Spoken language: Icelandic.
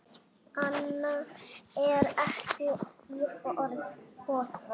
Annað er ekki í boði.